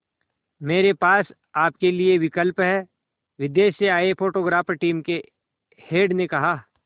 मेरे पास आपके लिए विकल्प है विदेश से आए फोटोग्राफर टीम के हेड ने कहा